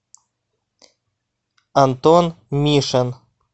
антон мишин